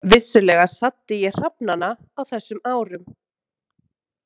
Vissulega saddi ég hrafnana á þessum árum.